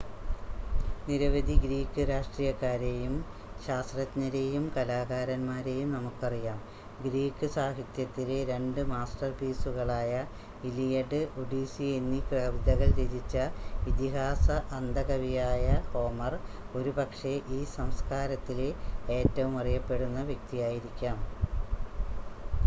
നിരവധി ഗ്രീക്ക് രാഷ്‌ട്രീയക്കാരെയും ശാസ്ത്രജ്ഞരെയും കലാകാരന്മാരെയും നമുക്കറിയാം ഗ്രീക്ക് സാഹിത്യത്തിലെ രണ്ട് മാസ്റ്റർപീസുകളായ ഇലിയഡ് ഒഡീസി എന്നീ കവിതകൾ രചിച്ച ഇതിഹാസ അന്ധ കവിയായ ഹോമർ ഒരുപക്ഷെ ഈ സംസ്കാരത്തിലെ ഏറ്റവും അറിയപ്പെടുന്ന വ്യക്തിയായിരിക്കാം